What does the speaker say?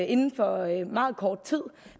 inden for meget kort tid